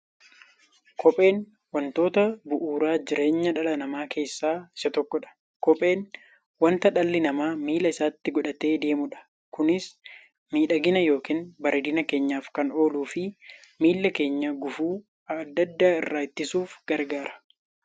Kopheen wantoota bu'uura jireenya dhala namaa keessaa isa tokkodha. Kopheen wanta dhalli namaa miilla isaatti godhatee deemudha. Kunis miidhagani yookiin bareedina keenyaf kan ooluufi miilla keenya gufuu adda addaa irraa ittisuuf gargaara.